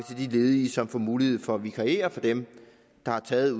de ledige som får mulighed for at vikariere for dem der har taget